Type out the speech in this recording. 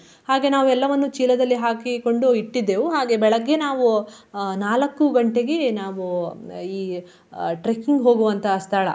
ಹಾಗೆ ನಾವು ಎಲ್ಲವನ್ನು ಚೀಲದಲ್ಲಿ ಹಾಕಿಕೊಂಡು ಇಟ್ಟಿದ್ದೆವು. ಹಾಗೆ ಬೆಳಗ್ಗೆ ನಾವು ಆ ನಾಲಕ್ಕು ಗಂಟೆಗೆ ನಾವು ಈ trekking ಹೋಗುವಂತಹ ಸ್ಥಳ.